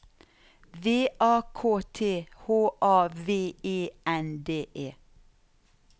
V A K T H A V E N D E